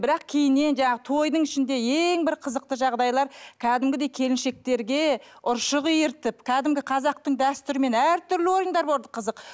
бірақ кейіннен жаңағы тойдың ішінде ең бір қызықты жағдайлар кәдімгідей келіншектерге ұршық үйіртіп кәдімгі қазақтың дәстүрімен әртүрлі ойындар болды қызық